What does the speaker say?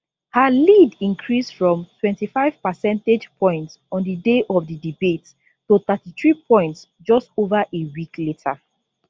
her lead increase from 25 percentage points on di day of di debate to 33 points just ova a week later